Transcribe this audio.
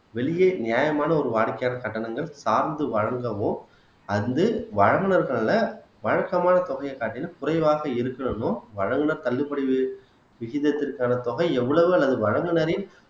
வெளியே நியாயமான ஒரு வாடிக்கையாளர் கட்டணங்கள் சார்ந்து வழங்கவும் அது வந்து வழங்குனதுனால வழக்கமான தொகையைக் காட்டிலும் குறைவாக இருக்கணும்ன்னும் வழங்கின தள்ளுபடி விஷ விஷயத்திற்கான தொகை எவ்வளவு அல்லது வழங்குனரின்